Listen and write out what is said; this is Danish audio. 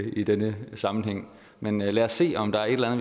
i denne sammenhæng men lad os se om der er et eller